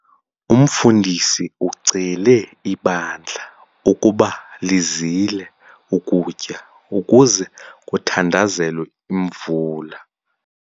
Umfundisi ucele ibandla ukuba lizile ukutya ukuze kuthandazelwe imvula.